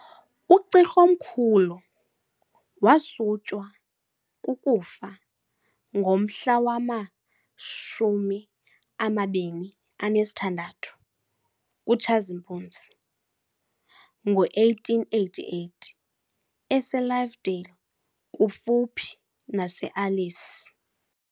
U-Cirh'omkhulu wasutywa kukufa ngomhla wama-26 kuTshazimpuzi ngo 1888 eseLovedale kufuphi naseAlice.